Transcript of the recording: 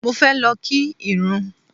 Mo fẹ́ lọ kí ìrún.